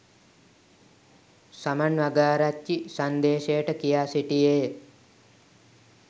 සමන් වගආරච්චි සංදේශයට කියා සිටියේය